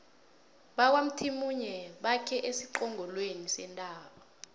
bakwamthimunye bakhe esiqongolweni sentaba